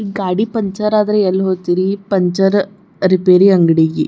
ಈ ಗಾಡಿ ಪಂಚರ್ ಆದ್ರೆ ಎಲ್ಲಿ ಹೋಕಿರಿ ಪಂಚರ್ ರಿಪೇರಿ ಅಂಗಡಿಗೆ.